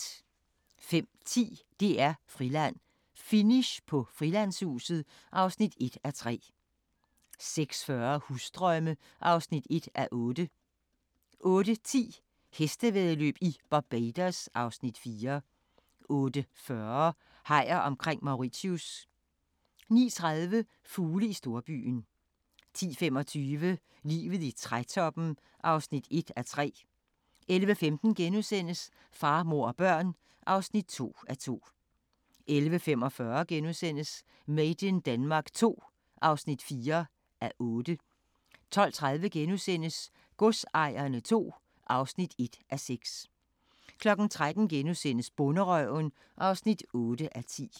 05:10: DR-Friland: Finish på Frilandshuset (1:3) 06:40: Husdrømme (1:8) 08:10: Hestevæddeløb i Barbados (Afs. 4) 08:40: Hajer omkring Mauritius 09:30: Fugle i storbyen 10:25: Livet i trætoppen (1:3) 11:15: Far, mor og børn (2:2)* 11:45: Made in Denmark II (4:8)* 12:30: Godsejerne II (1:6)* 13:00: Bonderøven (8:10)*